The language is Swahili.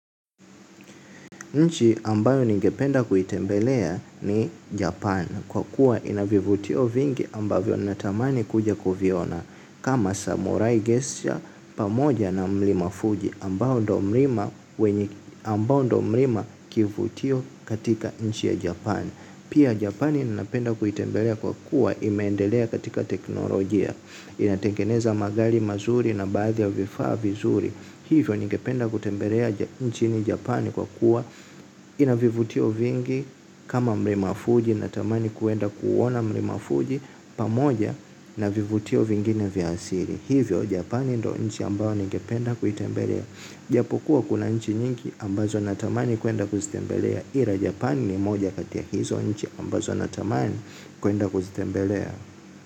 Nchi ambayo ningependa kuitembelea ni Japan kwa kuwa inavivutio vingi ambavyo natamani kuja kuviona kama samurai gesture pamoja na mlima Fuji ambao ndo mlima wenye ambao ndo mlima kivutio katika nchi ya Japan. Pia Japani ninapenda kuitembelea kwa kuwa imeendelea katika teknolojia. Inatengeneza magari mazuri na baadhi ya vifaa vizuri hivyo ningependa kutembelea nchini Japani kwa kuwa inavivutio vingi kama mlima fuji na tamani kuenda ku uona mlimafuji pamoja na vivutio vingine vya asili. Hivyo Japani ndo nchi ambao ningependa kuitembelea. Japokuwa kuna nchi nyingi ambazo na tamani kuenda kuzitembelea. Ila Japan ni moja kati ya hizo nchi ambazo na tamani kuenda kuzitembelea.